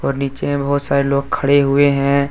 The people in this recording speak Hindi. और नीचे में बहुत सारे लोग खड़े हुए हैं।